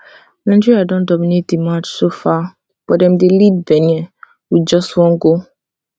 nigeria don dominate di match so far but dem dey lead benin by just one goal